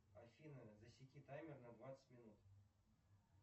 афина засеки таймер на двадцать минут